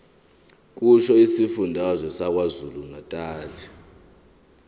kusho isifundazwe sakwazulunatali